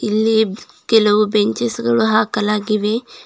ಇಲ್ಲಿ ಕೆಲವು ಬೆಂಚೆಸ್ ಗಳು ಹಾಕಲಾಗಿವೆ.